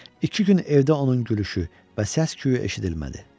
İki gün evdə onun gülüşü və səs küyü eşidilmədi.